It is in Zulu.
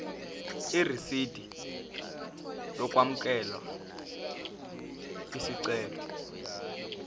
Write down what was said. irisidi lokwamukela isicelo